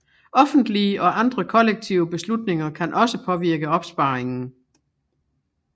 Offentlige og andre kollektive beslutninger kan også påvirke opsparingen